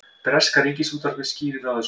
Breska ríkisútvarpið skýrir frá þessu